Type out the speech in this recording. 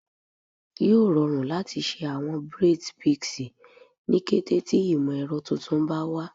Yoo rọrun lati ṣe awọn braids pixie ni kete ti imọ-ẹrọ tuntun ba wa